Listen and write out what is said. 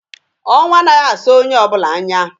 Ọnwụ a naghị asọ onye ọbụla anya.